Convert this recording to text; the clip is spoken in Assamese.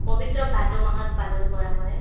পবিত্ৰ ভাদ মাহত পালন কৰা হয়